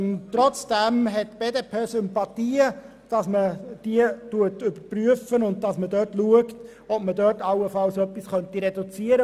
Trotzdem empfindet die BDP Sympathien für den Vorschlag, dies zu überprüfen und allenfalls um diese Stellen zu reduzieren.